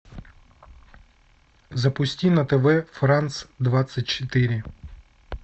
запусти на тв франс двадцать четыре